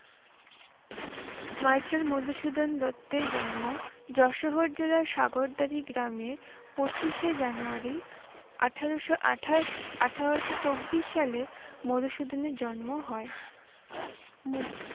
Michael Madhusudan দত্তের জন্ম যশোর জেলার সাগরদাড়ি গ্রামে পঁচিশে জানুয়ারি, আঠারোশ আঠাশ, আঠারোশ চব্বিশ সালে মধুসূদনের জন্ম হয়।